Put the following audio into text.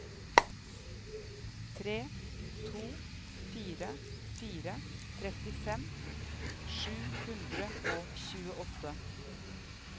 tre to fire fire trettifem sju hundre og tjueåtte